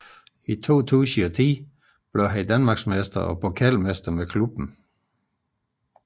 I 2010 blev han Danmarksmester og pokalmester med klubben